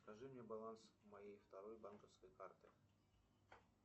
покажи мне баланс моей второй банковской карты